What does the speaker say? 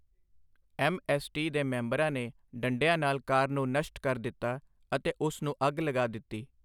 MST. ਦੇ ਮੈਂਬਰਾਂ ਨੇ ਡੰਡਿਆਂ ਨਾਲ ਕਾਰ ਨੂੰ ਨਸ਼ਟ ਕਰ ਦਿੱਤਾ ਅਤੇ ਉਸ ਨੂੰ ਅੱਗ ਲਗਾ ਦਿੱਤੀ।